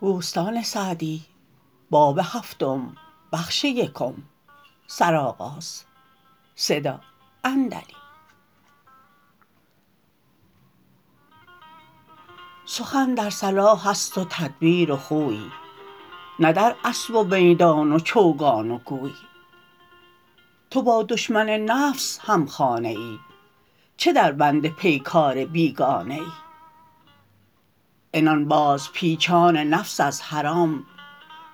سخن در صلاح است و تدبیر و خوی نه در اسب و میدان و چوگان و گوی تو با دشمن نفس هم خانه ای چه در بند پیکار بیگانه ای عنان باز پیچان نفس از حرام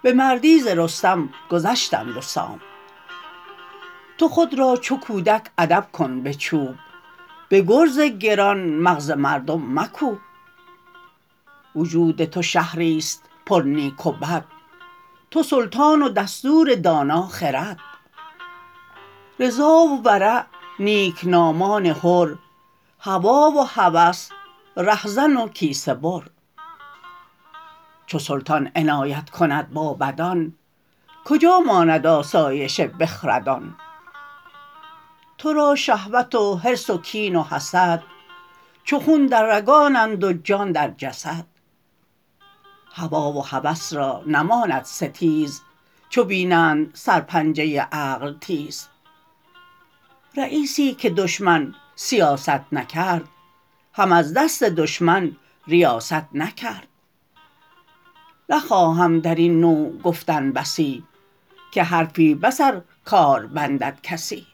به مردی ز رستم گذشتند و سام تو خود را چو کودک ادب کن به چوب به گرز گران مغز مردم مکوب وجود تو شهری است پر نیک و بد تو سلطان و دستور دانا خرد رضا و ورع نیکنامان حر هوی و هوس رهزن و کیسه بر چو سلطان عنایت کند با بدان کجا ماند آسایش بخردان تو را شهوت و حرص و کین و حسد چو خون در رگانند و جان در جسد هوی و هوس را نماند ستیز چو بینند سر پنجه عقل تیز رییسی که دشمن سیاست نکرد هم از دست دشمن ریاست نکرد نخواهم در این نوع گفتن بسی که حرفی بس ار کار بندد کسی